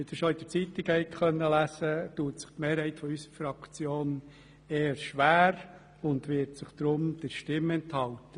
Wie Sie bereits den Zeitungen entnehmen konnten, tut sich die Mehrheit unserer Fraktion eher schwer damit und wird sich deshalb der Stimme enthalten.